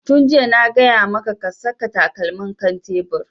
Tun jiya na gaya maka ka saka takalmin kan tebur!